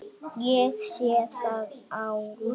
Ég sé það á Lúlla.